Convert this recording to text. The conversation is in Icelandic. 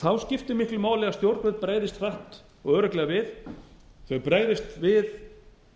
þá skiptir miklu máli að stjórnvöld bregðist hratt og örugglega við þau bregðist við